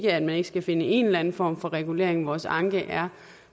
at man ikke skal finde en eller anden form for regulering vores anke er